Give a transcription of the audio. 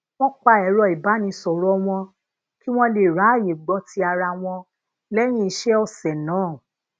wón pa ero ibanisoro wọn kí wón lè ráyè gbó ti ara wọn léyìn ise òsè naa